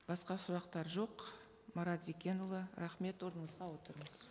басқа сұрақтар жоқ марат зекенұлы рахмет орныңызға отырыңыз